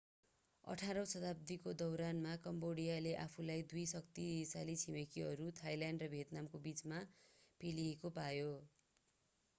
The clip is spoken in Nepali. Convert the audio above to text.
18 औँ शताब्दीको दौरान कम्बोडियाले आफूलाई दुई शक्तिशाली छिमेकीहरू थाईल्यान्ड र भियतनामको बीच पेलिएको पायो